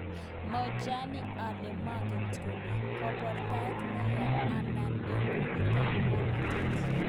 Mochalani ale maget kone, kabortaet neya. Andei eng Kundit ab ngweltaet